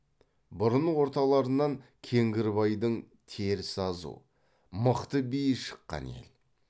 бұрын орталарынан кеңгірбайдың теріс азу мықты биі шыққан ел